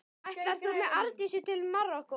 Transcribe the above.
Ætlar þú með Arndísi til Marokkó?